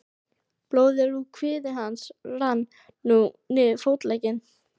Blóðið úr kviði hans rann nú niður fótlegginn.